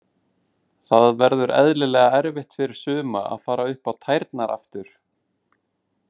Það verður eðlilega erfitt fyrir suma að fara upp á tærnar aftur.